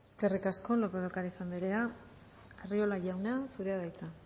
eskerrik asko lópez de ocariz anderea arriola jauna zurea da hitza